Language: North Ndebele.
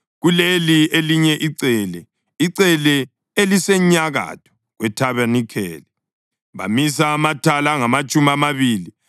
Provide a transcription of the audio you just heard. Kuleli elinye icele, icele elisenyakatho kwethabanikeli, bamisa amathala angamatshumi amabili